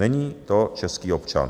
Není to český občan.